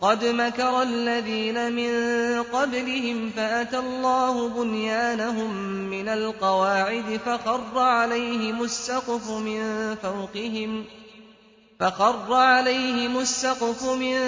قَدْ مَكَرَ الَّذِينَ مِن قَبْلِهِمْ فَأَتَى اللَّهُ بُنْيَانَهُم مِّنَ الْقَوَاعِدِ فَخَرَّ عَلَيْهِمُ السَّقْفُ مِن